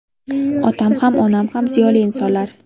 Otam ham, onam ham ziyoli insonlar.